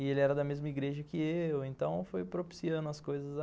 E ele era da mesma igreja que eu, então foi propiciando as coisas.